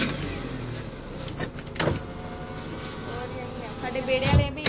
ਹੋਰ ਜੀ ਆਈ